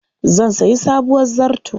Zan sayi sabuwar zarto.